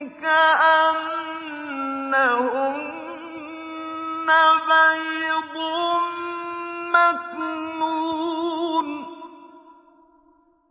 كَأَنَّهُنَّ بَيْضٌ مَّكْنُونٌ